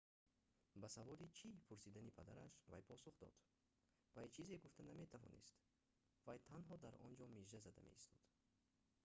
ба саволи чӣ пурсидани падараш вай посух дод вай чизе гуфта наметавонист вай танҳо дар онҷо мижа зада меистод